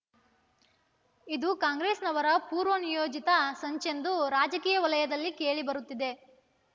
ಇದು ಕಾಂಗ್ರೆಸ್‍ನವರ ಪೂರ್ವ ನಿಯೋಜಿತ ಸಂಚೆಂದುರಾಜಕೀಯ ವಲಯದಲ್ಲಿ ಕೇಳಿ ಬರುತ್ತಿದೆ